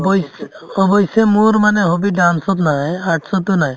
অৱশ্যে~ অৱশ্যে মোৰ মানে hobby dance ত নাই art ততো নাই